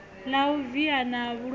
la u via na vhuloi